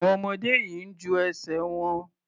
Àwọn ọmọdé yìí ń ju ẹsẹ̀ wọn.